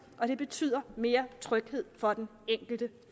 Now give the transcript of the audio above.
og det betyder mere tryghed for den enkelte